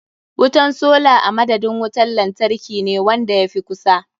Wutan sola a madadin wuntar lantarkine wanda ya fi kusa.